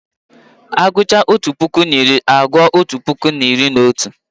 A gụchaa otu puku na iri, a gụọ otu puku na iri na otu